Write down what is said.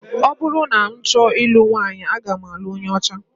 Ọ bụrụ na m chọọ ilu nwaanyị, aga m alụ onye ọcha